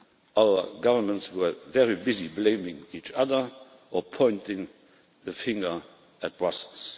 shape. Our governments were very busy blaming each other, or pointing the finger at Brussels.